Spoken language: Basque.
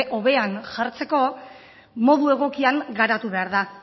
hobean jartzeko modu egokian garatu behar da